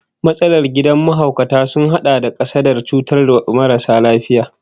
Matsalar kidan mahaukata sun hada da kasadar cutarwar marasa lafiyar